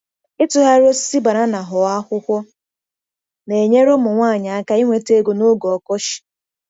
Ịtụgharị osisi banana ghọọ akwụkwọ na-enyere ụmụ nwanyị aka inweta ego n’oge ọkọchị.